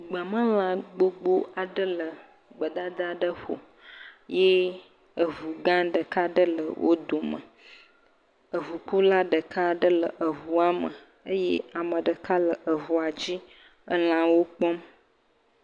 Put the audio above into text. Gbemelã gbogbo aɖe le gbedada aɖe ƒo. Ye eŋu gã ɖeka aɖe le wo dome. Eŋukula ɖeka ɖe le eŋua me eye ame ɖeka le eŋua dzi elãwo kpɔm.